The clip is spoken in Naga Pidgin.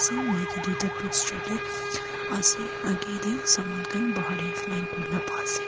maiki duita poster de ase aage de saman khan bahar line kurina bua ase.